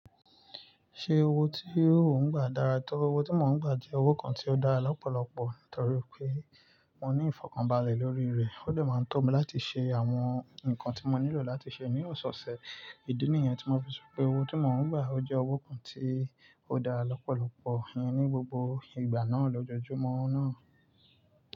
Ṣé owó tí ó ń gbà dára tó? Owó tí mò ń gbà jẹ́ owó kan tí ó dára lọ́pọ̀lọpọ̀ nítorí pé mo ní ìfọ̀kànbalẹ̀ lórí rẹ̀. Ó dè máa ń tọ́ mi láti ṣe àwọn nǹkan tí mo nílò láti ṣe ní oseose ìdí nìyẹn tí mo fi sọ pé owó tí mò ń gbà jẹ́ owó kan tí ó dára lọ́pọ̀lọpọ̀ yẹn ní gbogbo ìgbà náà lójoojúmọ́ náà.